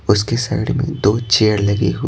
उसके साइड में दो चेयर लगी हो।